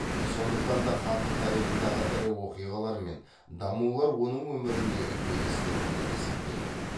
сондықтан да хандық тарихындағы ірі оқиғалар мен дамулар оның өміріндегі белестер болып есептеледі